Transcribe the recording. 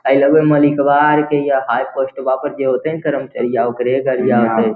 आय लगो ए मालिकवा अर के या हाय पोस्टवा में जे होतय ना कर्मचरिया ओकरे गड़िया होते।